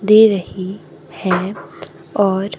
दे रही हैं और--